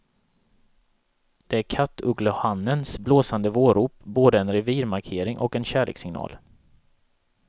Det är kattugglehannens blåsande vårrop, både en revirmarkering och en kärlekssignal.